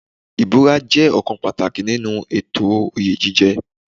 Ìbúra jẹ́ ọ̀kan pàtàkì nínú ètò oyè jíjẹ.